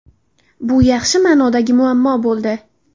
Bu yaxshi ma’nodagi muammo bo‘ldi.